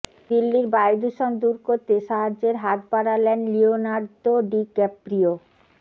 দিল্লির বায়ুদূষণ দূর করতে সাহায্যের হাত বাড়ালেন লিওনার্দো ডিক্যাপ্রিও